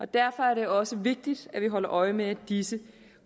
derfor er det også vigtigt at vi holder øje med at disse